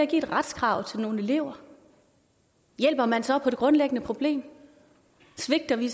giver et retskrav til nogle elever hjælper man så på det grundlæggende problem svigter vi i